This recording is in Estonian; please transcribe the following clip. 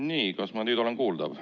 Nii, kas ma nüüd olen kuuldav?